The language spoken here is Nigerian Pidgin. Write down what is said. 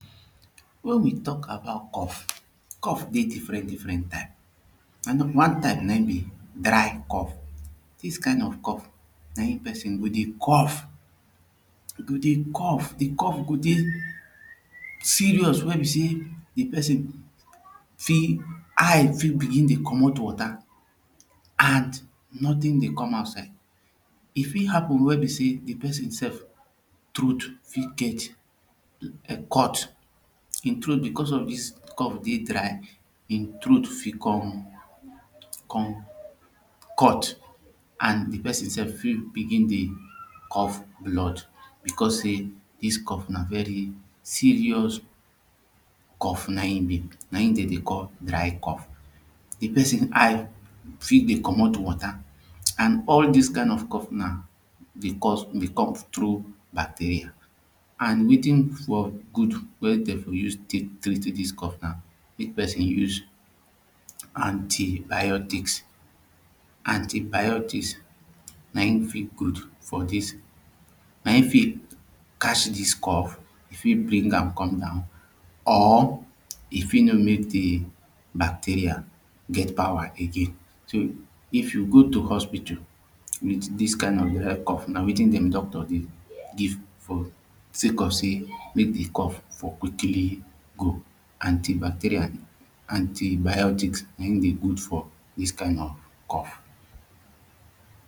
Mek we talk about cough Cough dey differen differen types. One type na him be dry cough dis kind of cough na him person go dey cough e go dey cough e go dey cough de cough go dey serious wey be seh de person fit eye fit begin dey comot wata an notin dey com outside e fit happen wey be sey de person sef troat fit get [um]cut him troat becos of dis cough dey dry hin troat fit com com cut an de person sef for begin dey cough blood becos say dis cough na very serious cough na him be na him dem dey call dry cough the person eye fit dey comot wata an all dis kind of cough na dey com trough bacteria and wetin for good wey dey for tek use treat dis cough na mek person use antibiotics Antibiotics na him fit good for dis na him fit catch this cough e fit bring am come down or e fit no mek de bacteria get power again so if you go to hospital wit dis kind of um cough na wetin doctor dey give for sake of say mek de cough for quickly go antibacteria antibiotics na him dey good for dis kind of cough